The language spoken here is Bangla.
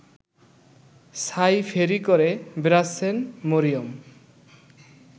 ছাই ফেরি করে বেড়াচ্ছেন মরিয়ম